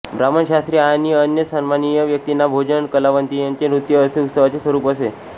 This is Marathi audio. ब्राह्मण शास्त्री आणि अन्य सन्माननीय व्यक्तींंना भोजन कलावंंतिणींंचे नृृत्य असे उत्सवाचे स्वरूप असे